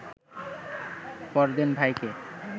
পরদিন ভাইকে